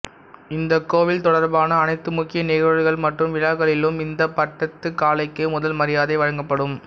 இந்த கோவில் தொடர்பான அனைத்து முக்கிய நிகழ்வுகள் மற்றும் விழாக்களிலும் இந்த பட்டத்துக் காளைக்கே முதல் மரியாதை வழங்கப்படும்